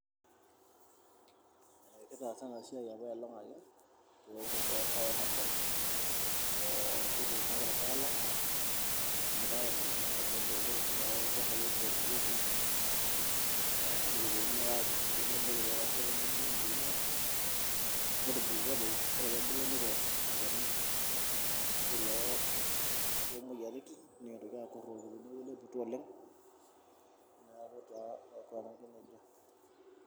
Eee kitaasa ena siai apailong' ake peosh peesha ena shan ee kituuno ake ilpaek lang' kishomoita ake ainyang'u inkaitubulu tooldukai oshi oomorieki, nikiponu naake aatur ingumot nikipik atua tenebo wempolea netubulutua toi ore peebul nikiosh olchani oshi loo loomoyaritin nikintoki aakurrroki teeeku ileputua oleng' neeku taa aikunaki nejia.